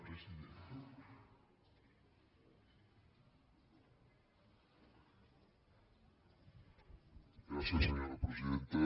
gràcies senyora presidenta